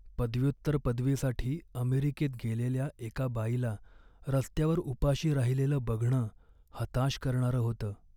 पदव्युत्तर पदवीसाठी अमेरिकेत गेलेल्या एका बाईला रस्त्यावर उपाशी राहिलेलं बघणं हताश करणारं होतं.